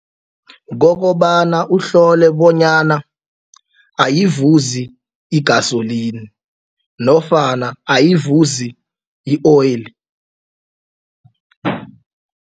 Kokobana uhlole bonyana ayivuzi igasoline nofana ayivuzi i-oil.